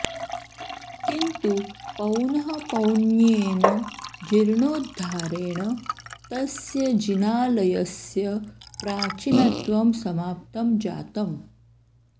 किन्तु पौनःपौन्येन जीर्णोद्धारेण तस्य जिनालयस्य प्राचीनत्वं समाप्तं जातम्